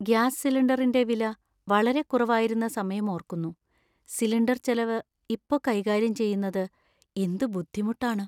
Gas സിലിണ്ടറിന്‍റെ വില വളരെ കുറവായിരുന്ന സമയം ഓർക്കുന്നു. സിലിണ്ടർ ചെലവ് ഇപ്പൊ കൈകാര്യം ചെയ്യുന്നത്എന്ത് ബുദ്ധിമുട്ടാണ്.